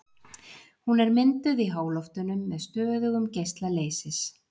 Hún er mynduð í háloftunum með stöðugum geisla leysis.